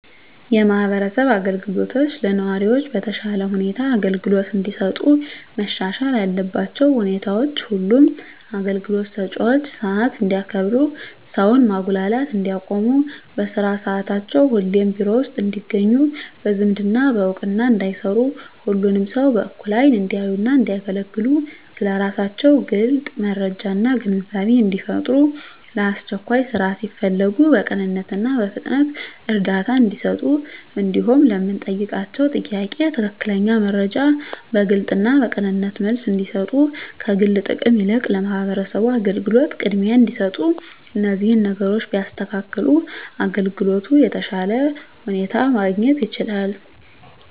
የማህበረሰብ አገልግሎቶች ለነዋሪዎች በተሻለ ሁኔታ አገልግሎት እንዲሰጡ መሻሻል ያለባቸው ሁኔታዎች ሁሉም አገልግሎት ሰጭዎች ሰዓት እንዲያከብሩ ሰውን ማጉላላት እንዲያቆሙ በስራ ሰዓታቸው ሁሌም ቢሮ ውስጥ እንዲገኙ በዝምድና በእውቅና እንዳይሰሩ ሁሉንም ሰው በእኩል አይን እንዲያዩና እንዲያገለግሉ ስለ ስራቸው ግልጽ መረጃና ግንዛቤን እንዲፈጥሩ ለአስቸኳይ ስራ ሲፈለጉ በቅንነትና በፍጥነት እርዳታ እንዲሰጡ እንዲሁም ለምንጠይቃቸው ጥያቄ ትክክለኛ መረጃ በግልጽና በቅንነት መልስ እንዲሰጡ ከግል ጥቅም ይልቅ ለማህበረሰቡ አገልግሎት ቅድሚያ እንዲሰጡ እነዚህን ነገሮች ቢያስተካክሉ አገልግሎት በተሻለ ሁኔታ ማግኘት ይቻላል።